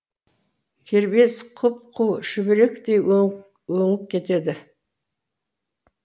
кербез құп қу шүберектей өңіп кетеді